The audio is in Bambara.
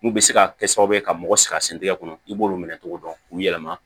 N'u bɛ se ka kɛ sababu ye ka mɔgɔ sɛgɛrɛ sɛntigɛ kɔnɔ i b'olu minɛ cogo dɔn k'u yɛlɛma